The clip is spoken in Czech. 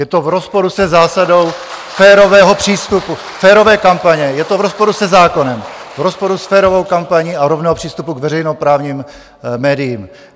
Je to v rozporu se zásadou férového přístupu, férové kampaně, je to v rozporu se zákonem, v rozporu s férovou kampaní a rovného přístupu k veřejnoprávním médiím.